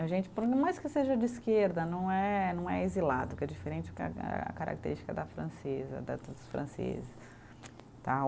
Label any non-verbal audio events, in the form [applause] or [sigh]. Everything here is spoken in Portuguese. A gente, por mais que seja de esquerda, não é, não é exilado, que é diferente [unintelligible] a característica da francesa, da dos franceses, tá o.